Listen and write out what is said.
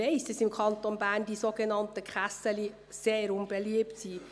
Ich weiss, dass im Kanton Bern die sogenannten «Kässeli» sehr unbeliebt sind.